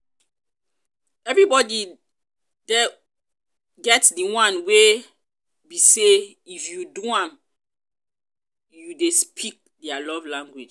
everybody get di one wey be say if you do am you de speak their love language